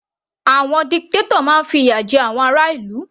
Àwọn dictator máa fi ìyà jẹ àwọn ará ìlú.